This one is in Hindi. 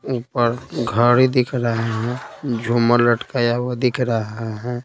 ऊपर घड़ी दिख रहा है झूमर लटकाया हुआ दिख रहा है।